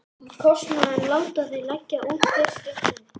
Kostnaðinn láta þeir leggja út fyrst um sinn.